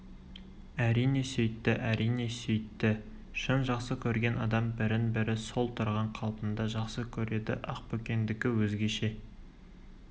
әрине сөйтті әрине сөйтті шын жақсы көрген адам бірін-бірі сол тұрған қалпында жақсы көреді ақбөкендікі өзгеше